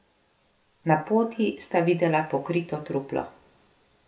Na poti sta videla pokrito truplo.